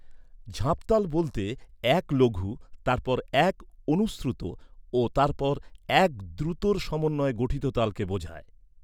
ঝাঁপ তাল বলতে এক লঘু, তারপর এক অনুশ্রুত ও তারপর এক দ্রুতর সমন্বয়ে গঠিত তালকে বোঝায়।